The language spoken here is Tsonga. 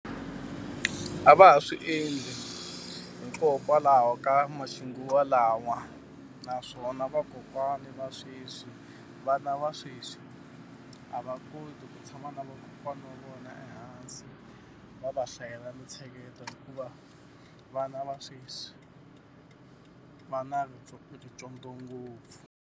A va ha swi endli hikokwalaho ka ma xinguvalawa. Naswona vakokwani va sweswi, vana va sweswi a va ha koti ku tshama na vakokwana wa vona ehansi, va va hlayela mintsheketo hikuva vana va sweswi va na rincondzo ngopfu.